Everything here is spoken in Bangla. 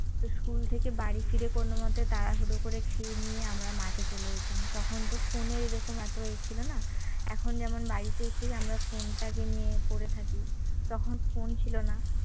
তো school থেকে বাড়ি ফিরে কোনমতে তাড়াহুড়ো করে খেয়ে নিয়ে আমরা মাঠে চলে যেতাম তখন তো phone এ এরকম এত এ ছিল না এখন যেমন বাড়িতে এসেই আমরা phone টা কে নিয়ে পড়ে থাকি তখন phone ছিল না।